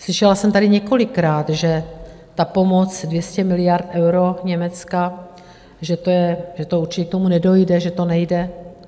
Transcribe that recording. Slyšela jsem tady několikrát, že ta pomoc 200 miliard eur z Německa, že určitě k tomu nedojde, že to nejde.